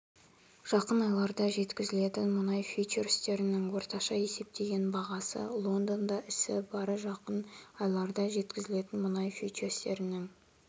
жақын айларда жеткізілетін мұнай фьючерстерінің орташа есептеген бағасы лондонда ісі барр жақын айларда жеткізілетін мұнай фьючерстерінің